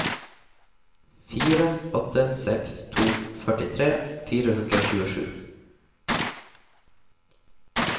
fire åtte seks to førtitre fire hundre og tjuesju